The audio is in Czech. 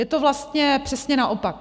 Je to vlastně přesně naopak.